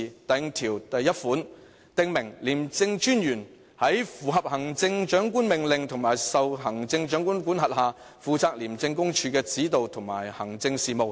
第51條訂明："廉政專員在符合行政長官命令及受行政長官管轄下，負責廉政公署的指導及行政事務。